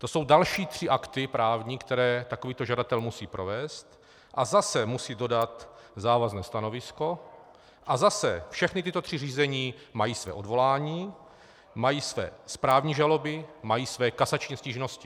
To jsou další tři právní akty, které takovýto žadatel musí provést, a zase musí dodat závazné stanovisko, a zase všechna tato tři řízení mají své odvolání, mají své správní žaloby, mají své kasační stížnosti.